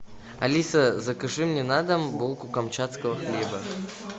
алиса закажи мне на дом булку камчатского хлеба